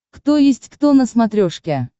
кто есть кто на смотрешке